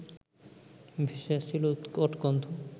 ভেসে আসছিল উৎকট গন্ধ